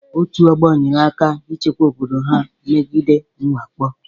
Otu ọgbo nyere aka na-ichekwa obodo ha megide mwakpo.